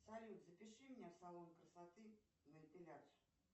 салют запиши меня в салон красоты на эпиляцию